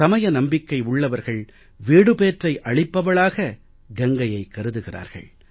சமய நம்பிக்கை உள்ளவர்கள் வீடுபேற்றை அளிப்பவளாக கங்கையை கருதுகிறார்கள்